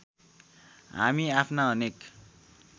हामी आफ्ना अनेक